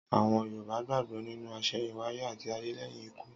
Àwon Yorùbá gbàgbó nínú àsèyìnwáyé àti ayé léyìn ikú